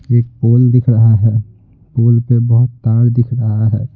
एक पोल दिख रहा है पोल पे बहुत तार दिख रहा है।